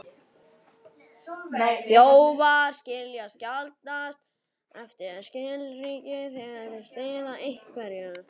Þjófar skilja sjaldnast eftir skilríki þegar þeir stela einhverju.